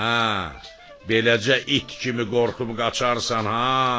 Hə, beləcə it kimi qorxub qaçarsan ha!